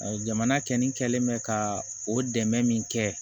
Jamana kɛlen bɛ ka o dɛmɛ min kɛ